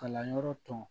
Kalanyɔrɔ tɔw